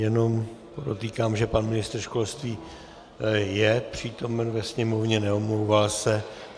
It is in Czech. Jenom podotýkám, že pan ministr školství je přítomen ve sněmovně, neomlouvá se.